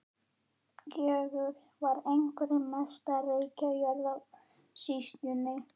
Gjögur var einhver mesta rekajörð í sýslunni.